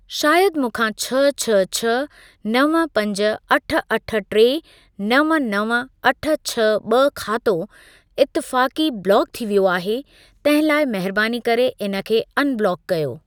शायदि मूखां छह छह छह नव पंज अठ अठ टे नव नव अठ छह ॿ खातो इतफाक़ी ब्लॉक थी वियो आहे तंहिं लाइ महिरबानी करे इन खे अनब्लॉक कयो।